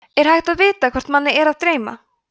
er hægt að vita hvort mann er að dreyma